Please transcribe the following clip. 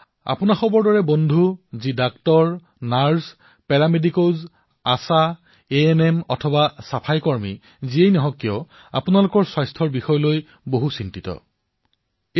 আপোনালোকৰ দৰে সতীৰ্থ লাগিলে চিকিৎসকেই হওক নাৰ্ছেই হওক পেৰা মেডিকেলেই হওক আশা এএনএম কৰ্মী চাফাই কৰ্মীয়েই হওক আপোনালোকৰ স্বাস্থ্যক লৈও দেশে চিন্তা কৰিছে